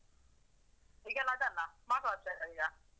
ಈಗ ಎಲ್ಲ ಅದೆಲ್ಲ smart watch ಅಲ್ಲ ಈಗ.